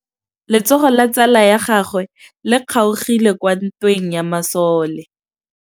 Letsôgô la tsala ya gagwe le kgaogile kwa ntweng ya masole.